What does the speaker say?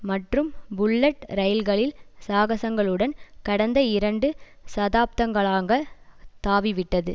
மற்றும் புல்லட் இரயில்களின் சாகசங்களுடன் கடந்த இரண்டு சதாப்தங்களாக தாவிவிட்டது